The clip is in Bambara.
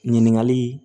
Ɲininkali